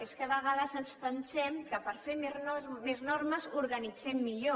és que a vegades ens pensem que per fer més normes organitzem millor